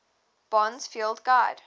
bond's field guide